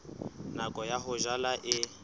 nako ya ho jala e